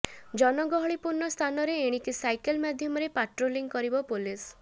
ଜନଗହଳିପୂର୍ଣ୍ଣ ସ୍ଥାନରେ ଏଣିକି ସାଇକେଲ ମାଧ୍ୟମରେ ପାଟ୍ରୋଲିଂ କରିବ ପୋଲିସ